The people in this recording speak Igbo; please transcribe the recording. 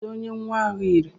Kedụ onye nwa ahụ yiri?